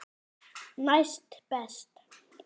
Næst best.